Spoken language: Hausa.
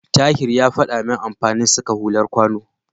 Tahir ya faɗa min amfanin saka hular kwano.